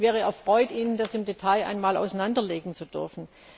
Ich wäre erfreut, Ihnen das im Detail einmal auseinanderlegen zu dürfen.